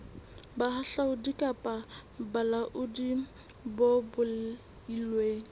bohahlaudi kapa bolaodi bo beilweng